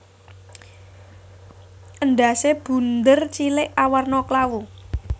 Endhasé bunder cilik awarna klawu